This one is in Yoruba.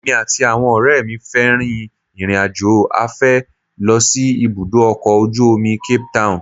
Èmi àti àwọn ọ̀rẹ́ mi fẹ́ rin ìrìnàjò afẹ́ lọ sí ibùdó ọkọ̀ ojú omi Cape town